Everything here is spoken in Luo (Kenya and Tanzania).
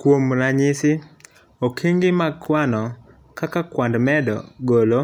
kuom ranyisi, okenge mag kwano kaka kwand medo, golo